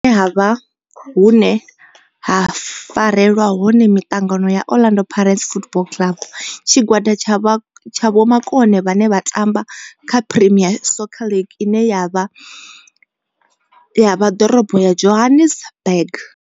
Ndi hone hune havha haya hune ha farelwa hone mitangano ya Orlando Pirates Football Club. Tshigwada tsha vhomakone vhane vha tamba kha Premier Soccer League ine ya vha Dorobo ya Johannesburg.